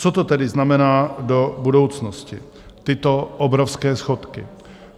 Co to tedy znamená do budoucnosti, tyto obrovské schodky?